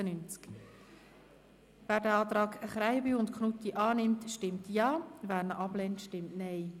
Wer den Antrag Krähenbühl und Knutti annehmen will, stimmt Ja, wer diesen ablehnt, stimmt Nein.